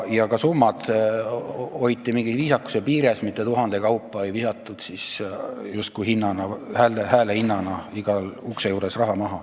Ja ka summad hoiti viisakuse piires, raha ei visatud tuhande euro kaupa justkui hääle eest makstes iga ukse juures maha.